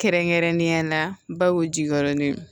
Kɛrɛnkɛrɛnnenya la bawu jigiyɔrɔ